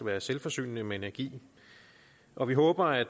være selvforsynende med energi og vi håber at